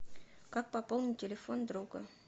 как пополнить телефон друга